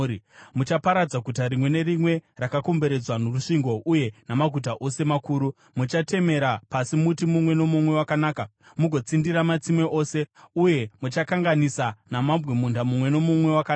Muchaparadza guta rimwe nerimwe rakakomberedzwa norusvingo uye namaguta ose makuru. Muchatemera pasi muti mumwe nomumwe wakanaka, mugotsindira matsime ose, uye muchakanganisa namabwe munda mumwe nomumwe wakanaka.”